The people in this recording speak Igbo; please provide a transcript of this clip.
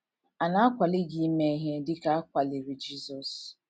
À Na - akwali Gị Ime Ihe Dị Ka A Kwaliri Jisọs?